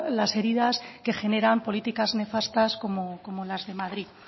las heridas que generan políticas nefastas como las de madrid